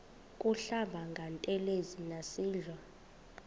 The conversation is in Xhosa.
kuhlamba ngantelezi nasidlo